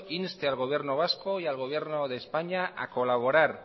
inste al gobierno vasco y al gobierno de españa a colaborar